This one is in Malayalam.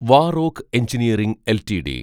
വാറോക്ക് എൻജിനിയറിങ് എൽടിഡി